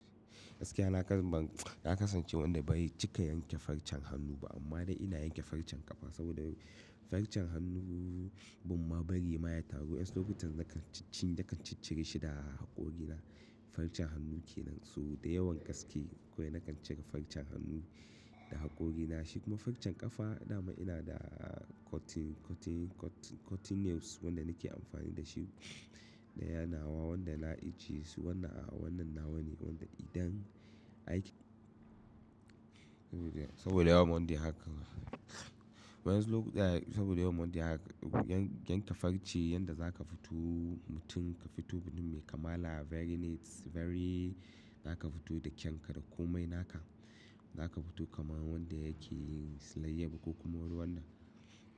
Gaskiya na kasam, na kasance wanda bari cika yanke farcen hannu ba, amma dai ina yanke farcen ƙafa saboda farcen hannu, bumma bari ma ya taru. Yan zun lokacin da ka ciccire shi da haƙorina, farcen hannu ke nan. So da yawan gaske kuwa na kan cika farcen hannu da haƙorina shi kuma farcen ƙafa, dama ina da cutting, cutting, cutting, cutting nails wanda nake amfani da shi daya nawa wanda na iji su wannan, wannan nawa ne wanda idan aiki, saboda yawan wanda haka. Wadansu lokuta saboda yau monday haka, yanka farce yanda za ka fito mutum ka fito birni mai kamala very neat, very za ka fito da kyan ka da komai naka. Za ka fito kamar wanda yake yin silayya ba ko kuma ruwan nan.